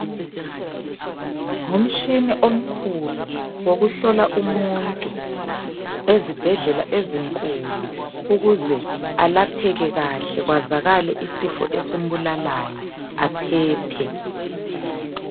Ngumtshina omkhulu, wokuhlola umuntu ezibhedlela ezinkulu, ukuze alapheke kahle kwazakale isifo esimbulalayo aphephe.